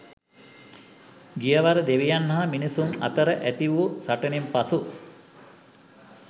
ගියවර දෙවියන් හා මිනිසුන් අතර ඇති වූ සටනෙන් පසු